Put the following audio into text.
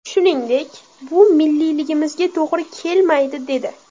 Shuningdek, bu milliyligimizga to‘g‘ri kelmaydi’, dedi.